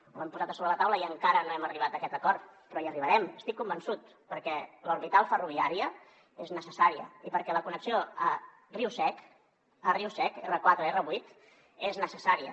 ho hem posat a sobre la taula i encara no hem arribat a aquest acord però hi arribarem n’estic convençut perquè l’orbital ferroviària és necessària i perquè la connexió a riu sec riu sec r4 r8 és necessària